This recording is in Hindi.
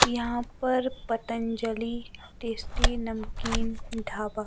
यहां पर पतंजलि टेस्टी नमकीन ढाबा--